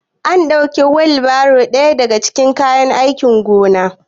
Ana ɗaukan wilbairo a ɗaya daga cikin kayan aikin gona